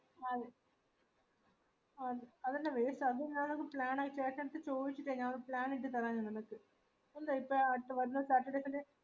ഒരു plan ആക്കിയൈന് ശേഷം അത് ചോയിച്ചിട്ട ഞാനൊരു plan ഇട്ടിറ്റ് തെര നിങ്ങക്ക് ഇപ്പൊ തൽകാലം certificate ന്റെ